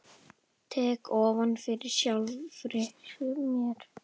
Tek ofan fyrir sjálfri mér.